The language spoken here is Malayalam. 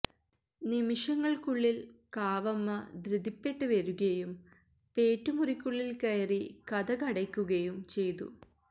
നിമിഷങ്ങൾക്കുളളിൽ കാവമ്മ ധൃതിപ്പെട്ട് വരുകയും പേറ്റ് മുറിക്കുളളിൽ കയറി കതകടയ്ക്കുകയും ചെയ്തു